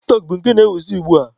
Tik-tọk bụ nke na-ewuzi ugbua.